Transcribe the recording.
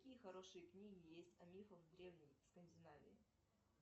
какие хорошие книги есть о мифах древней скандинавии